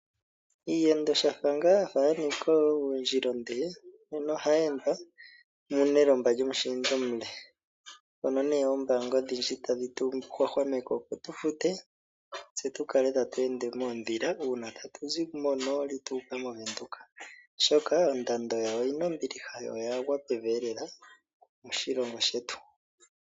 Iiyendo shampa ya nika oondjila oonde nena ohayi endwa mu nelomba lyomushindi omule. Noombanga odhindji otadhi tu hwahwameke opo tu fute tse tu kale tatu ende moondhila shampa tatu zi monooli tatu yi mOvenduka, oshoka ondando oyi na ombiliha yo oya gwa pevi lela moshilongo shetu.